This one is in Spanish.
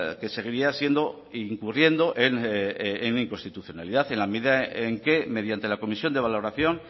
que seguiría siendo e incurriendo en inconstitucionalidad en la medida en que mediante la comisión de valoración